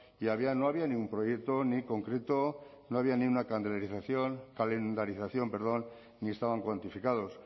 y no había ningún proyecto ni concreto no había ni una calendarización ni estaban cuantificados